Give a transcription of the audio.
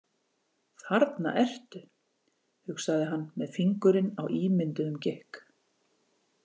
Þarna ertu, hugsaði hann með fingurinn á ímynduðum gikk.